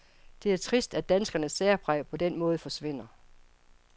Det er trist, at danskernes særpræg på den måde forsvinder.